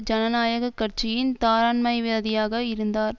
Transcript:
ஜனநாயக கட்சியின் தாராண்மைவாதியாக இருந்தார்